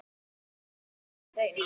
Lengi skal manninn reyna.